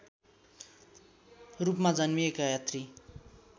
रूपमा जन्मिएका यात्री